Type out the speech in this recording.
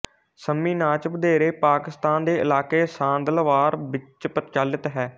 ਸੰਮੀ ਨਾਚ ਵਧੇਰੇ ਪਾਕਿਸਤਾਨ ਦੇ ਇਲਾਕੇ ਸਾਂਦਲਬਾਰ ਵਿੱਚ ਪ੍ਰਚਲਿਤ ਹੈ